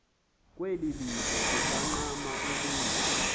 kukwilivo kungangxam yamntu